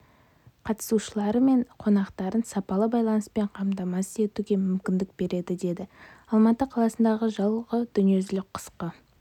қатысушылары мен қонақтарын сапалы байланыспен қамтамасыз етуге мүмкіндік береді деді алматы қаласындағы жылғы дүниежүзілік қысқы